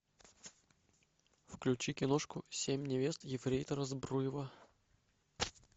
включи киношку семь невест ефрейтора збруева